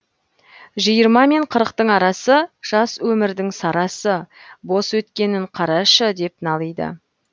жиырма мен қырықтың арасы жас өмірдің сарасы бос өткенін қарашы деп налиды